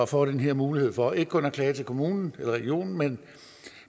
får den her mulighed for ikke kun at klage til kommunen eller regionen